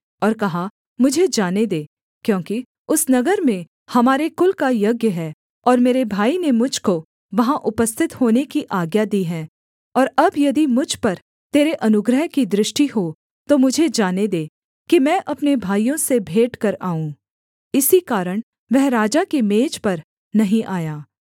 और कहा मुझे जाने दे क्योंकि उस नगर में हमारे कुल का यज्ञ है और मेरे भाई ने मुझ को वहाँ उपस्थित होने की आज्ञा दी है और अब यदि मुझ पर तेरे अनुग्रह की दृष्टि हो तो मुझे जाने दे कि मैं अपने भाइयों से भेंट कर आऊँ इसी कारण वह राजा की मेज पर नहीं आया